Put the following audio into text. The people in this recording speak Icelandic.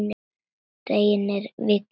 Reynir Vignir.